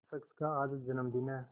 शख्स का आज जन्मदिन है